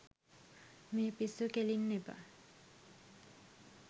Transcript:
මේ පිස්සු කෙලින්න එපා